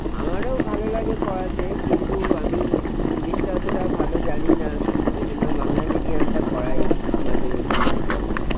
আমারও ভালো লাগে পড়াতে কিন্তু আমি english টা অতটা ভালো জানিনা কিন্তু ওই জন্য বাংলা medium টা পড়াই, মাঝে মধ্যে নিচু class এ।